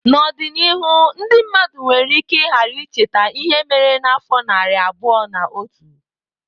N'ọdịnihu ndị mmadụ nwere ike ghara icheta ihe mere n'afọ narị abụọ na otu.